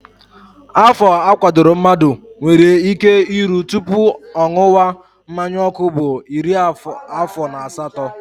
Afọ a kwadoro mmadụ nwere ike iru tupu ṅụwa mmanyaọkụ bụ iri afọ na asatọ